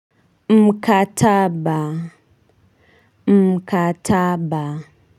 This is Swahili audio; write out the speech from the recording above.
Mkataba, mkataba.